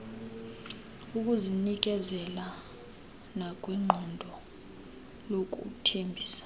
ekuzinikezeleni nakwiqondo lokuthembisa